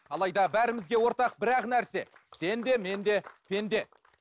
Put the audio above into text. алайда бәрімізге ортақ бір ақ нәрсе сен де мен де пенде